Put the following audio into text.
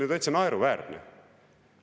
See on ju täitsa naeruväärne.